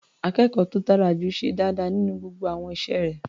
Akẹ́kọ̀ọ́ tó dára jù ṣe dáadáa nínú gbogbo àwọn iṣẹ́ rẹ̀.